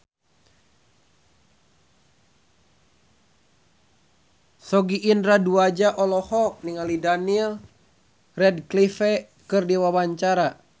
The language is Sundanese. Sogi Indra Duaja olohok ningali Daniel Radcliffe keur diwawancara